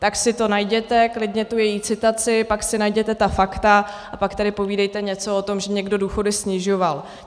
Tak si to najděte, klidně tu její citaci, pak si najděte ta fakta a pak tady povídejte něco o tom, že někdo důchody snižoval.